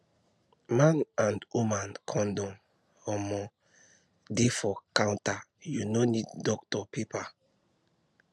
man and woman condom um dey for counter you no need doctor paper